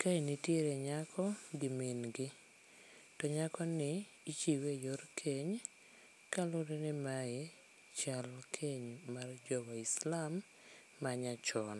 Kae nitiere nyako gi min gi. To nyakoni, ichiwe eyor keny, ni mae chal keny mar jowaislam manyachon.